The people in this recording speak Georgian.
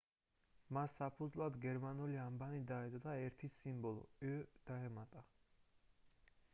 მას საფუძვლად გერმანული ანბანი დაედო და ერთი სიმბოლო õ/õ დაემატა